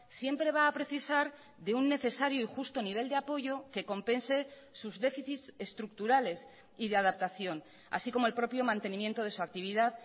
siempre va a precisar de un necesario y justo nivel de apoyo que compense sus déficits estructurales y de adaptación así como el propio mantenimiento de su actividad